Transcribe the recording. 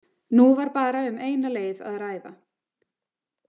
Nú var bara um eina leið að ræða.